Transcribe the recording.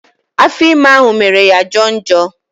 Afọ ime ahụ mere ya ọ jọo njọ